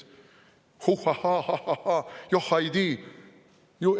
Huhhahhaa, ahhahhaa, johhaiidi!